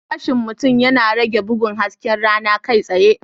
Gashin mutum yana rage bugun hasken rana kai tsaye.